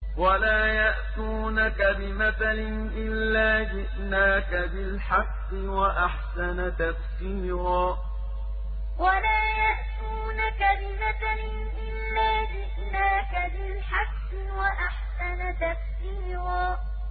وَلَا يَأْتُونَكَ بِمَثَلٍ إِلَّا جِئْنَاكَ بِالْحَقِّ وَأَحْسَنَ تَفْسِيرًا وَلَا يَأْتُونَكَ بِمَثَلٍ إِلَّا جِئْنَاكَ بِالْحَقِّ وَأَحْسَنَ تَفْسِيرًا